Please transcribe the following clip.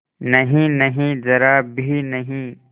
नहींनहीं जरा भी नहीं